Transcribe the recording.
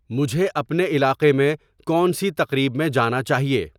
مجھے اپنے علاقے میں کون سی تقریب میں جانا چاہیے